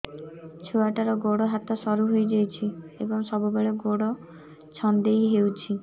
ଛୁଆଟାର ଗୋଡ଼ ହାତ ସରୁ ହୋଇଯାଇଛି ଏବଂ ସବୁବେଳେ ଗୋଡ଼ ଛଂଦେଇ ହେଉଛି